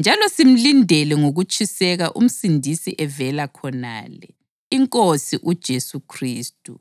Njalo simlindele ngokutshiseka uMsindisi evela khonale, iNkosi uJesu Khristu,